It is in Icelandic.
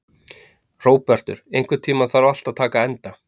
Hróbjartur, einhvern tímann þarf allt að taka enda.